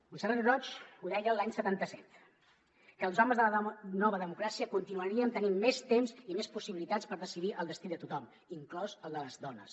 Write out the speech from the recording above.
montserrat roig ho deia l’any setanta set que els homes de la nova democràcia continuaríem tenint més temps i més possibilitats per decidir el destí de tothom inclòs el de les dones